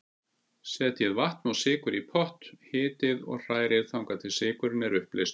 Setjið vatn og sykur í pott, hitið og hrærið þangað til sykurinn er uppleystur.